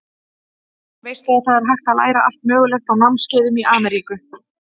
Veistu að það er hægt að læra allt mögulegt á námskeiðum í Ameríku.